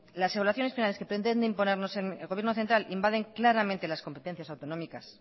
las evaluaciones finales que pretende imponernos el gobierno central invaden claramente las competencias autonómicas